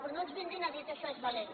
però no ens vinguin a dir que això és valent